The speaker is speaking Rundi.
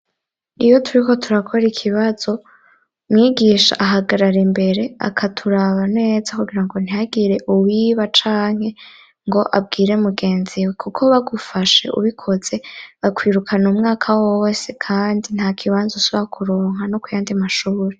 Iyo turiko turakora ikibazo mwigisha ahagarara imbere akaturaba neza kugira ngo ntiyagire uwiba canke ngo abwire mugenziwe kuko bagufashe ubikose bakwirukana umwaka wowose kandi nta kibanzo subakuronka no ku yandi mashuri.